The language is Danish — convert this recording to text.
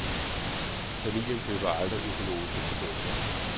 Familien køber aldrig økologiske produkter.